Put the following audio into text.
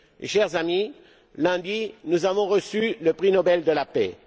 Chers amis, lund, nous avons reçu le prix Nobel de la paix.